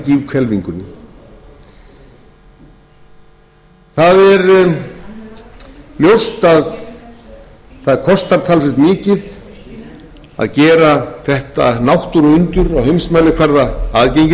til af gíghvelfingunni það er ljóst að það kostar talsvert mikið að gera þetta náttúruundur á heimsmælikvarða aðgengilegt og það er líka ljóst að það þyrftu margir